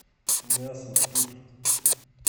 мясо тут